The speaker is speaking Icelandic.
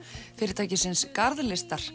fyrirtækisins